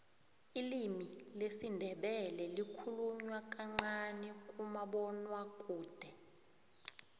ilimi lesindebele likhulunywa kancani kumabonwakude